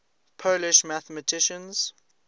polish mathematicians